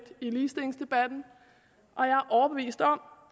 i ligestillingsdebatten og jeg er overbevist om